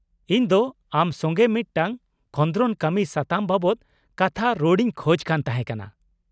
-ᱤᱧ ᱫᱚ ᱟᱢ ᱥᱚᱸᱜᱮ ᱢᱤᱫᱴᱟᱝ ᱠᱷᱚᱫᱨᱚᱱ ᱠᱟᱹᱢᱤ ᱥᱟᱛᱟᱢ ᱵᱟᱵᱚᱛ ᱠᱟᱛᱷᱟ ᱨᱚᱲᱤᱧ ᱠᱷᱚᱡᱽ ᱠᱟᱱ ᱛᱟᱦᱮᱸᱠᱟᱱᱟ ᱾